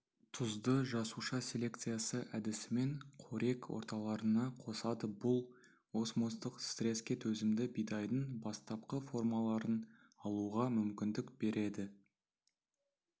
тұзды жасуша селекциясы әдісімен қорек орталарына қосады бұл осмостық стреске төзімді бидайдың бастапқы формаларын алуға мүмкіндік береді